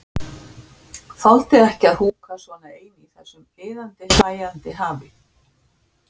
Þoldi ekki að húka svona ein í þessu iðandi, hlæjandi hafi.